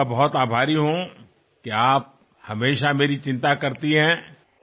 నా గురించి మీరిలా ఎప్పుడూ ఆదుర్దాపడుతున్నందుకు కృతజ్ఞతలు